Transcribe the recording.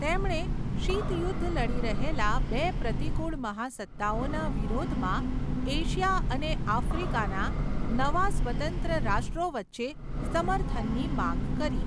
તેમણે શીત યુદ્ધ લડી રહેલા બે પ્રતિકૂળ મહાસત્તાઓના વિરોધમાં એશિયા અને આફ્રિકાના નવા સ્વતંત્ર રાષ્ટ્રો વચ્ચે સમર્થનની માંગ કરી.